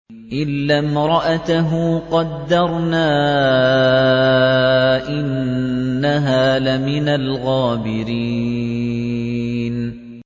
إِلَّا امْرَأَتَهُ قَدَّرْنَا ۙ إِنَّهَا لَمِنَ الْغَابِرِينَ